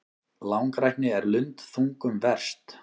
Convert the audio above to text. Langrækni er lundþungum verst.